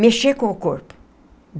Mexer com o corpo.